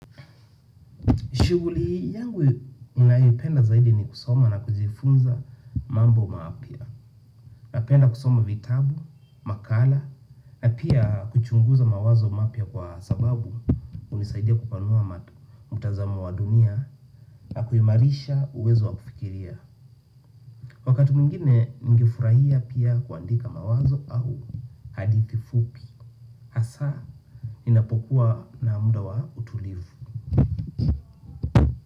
Shughuli yangu ninayoipenda zaidi ni kusoma na kujifunza mambo mapya. Napenda kusoma vitabu, makala, na pia kuchunguza mawazo mapya kwa sababu hunisaidia kupanua mtazamo wa dunia na kuimarisha uwezo wa kufikiria. Wakati mwingine ningefurahia pia kuandika mawazo au hadithi fupi. Hasa, ninapokuwa na muda wa utulivu.